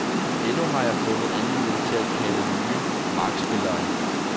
Endnu har jeg ikke fundet anledning til at kalde nye markspillere ind.